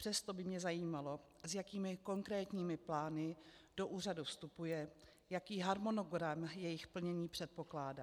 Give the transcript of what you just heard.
Přesto by mě zajímalo, s jakými konkrétními plány do úřadu vstupuje, jaký harmonogram jejich plnění předpokládá.